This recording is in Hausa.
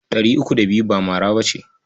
Ɗari uku da biyu ba mara ba ce.